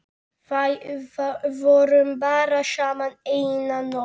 Vorum bara saman eina nótt.